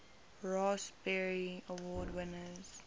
raspberry award winners